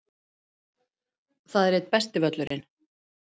Það er einn besti völlurinn.